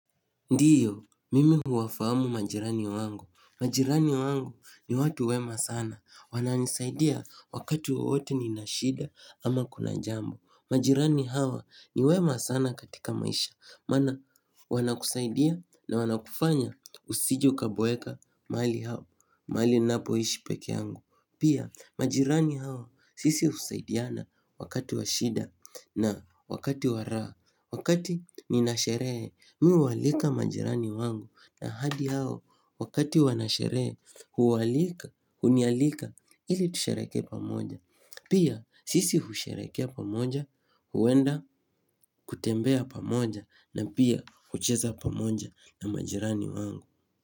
Ndio, mimi huwafahamu majirani wangu. Majirani wangu ni watu wema sana. Wananisaidia wakati wowote nina shida ama kuna jambo. Majirani hawa ni wema sana katika maisha. Maana wanakusaidia na wanakufanya usije ukaboeka mahali hapo. Mahali ninapoishi pekee yangu. Pia majirani hao sisi husaidiana wakati wa shida na wakati wa raha. Wakati nina sherehe mii uwahalika majirani wangu na hali yao wakati wanasherehe huwalika, hunialika ili tusherehekee pamoja Pia sisi husherehekea pamoja, huenda kutembea pamoja na pia kucheza pamoja na majirani wangu.